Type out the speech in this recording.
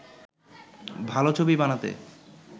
ভালো ছবি বানাতে